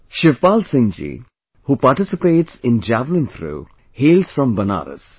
Shivpal Singh ji, who participates in Javelin Throw, hails from Banaras